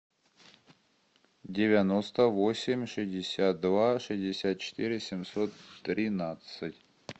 девяносто восемь шестьдесят два шестьдесят четыре семьсот тринадцать